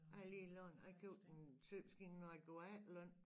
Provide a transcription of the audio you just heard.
Jeg har lige lån jeg købte en symaskine da jeg når jeg gå efterløn